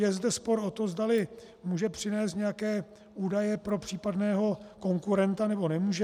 Je zde spor o to, zdali může přinést nějaké údaje pro případného konkurenta, nebo nemůže.